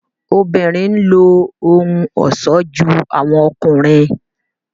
obìnrin ló ohùn ọṣọ jù awọn ọkùnrin